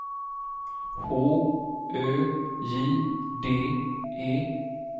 H Ö J D E